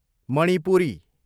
Manipuri